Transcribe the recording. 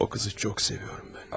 O qızı çox sevirəm mən.